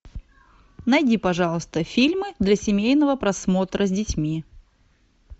найди пожалуйста фильмы для семейного просмотра с детьми